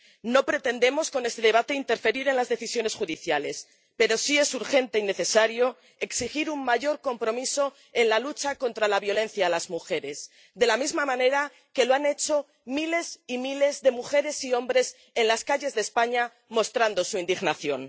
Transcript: No pretendemos con este debate interferir en las decisiones judiciales, pero sí es urgente y necesario exigir un mayor compromiso en la lucha contra la violencia contra las mujeres, de la misma manera que lo han hecho miles y miles de mujeres y hombres en las calles de España mostrando su indignación.